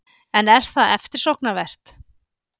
En er það eftirsóknarvert?